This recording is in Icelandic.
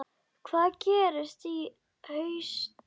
Hvað gerist í haust?